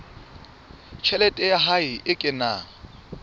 tjhelete ya hae e kenang